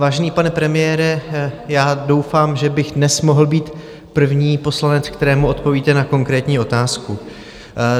Vážený pane premiére, já doufám, že bych dnes mohl být první poslanec, kterému odpovíte na konkrétní otázku.